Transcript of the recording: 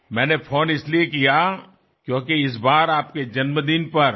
મેં ફોન એટલા માટે કર્યો કારણ કે આ વખતે આપના જન્મદિવસ પર